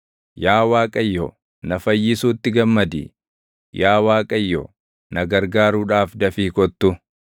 Yaa Waaqayyo, na fayyisuutti gammadi; yaa Waaqayyo, na gargaaruudhaaf dafii kottu.